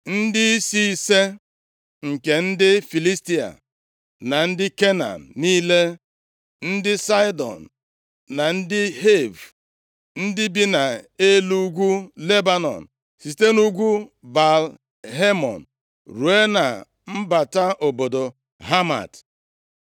Ndịisi ise nke ndị Filistia, na ndị Kenan niile, ndị Saịdọn na ndị Hiv, ndị bi nʼelu ugwu Lebanọn, site nʼugwu Baal-Hemon ruo na mbata obodo Hamat.